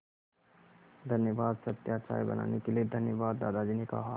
धन्यवाद सत्या चाय बनाने के लिए धन्यवाद दादाजी ने कहा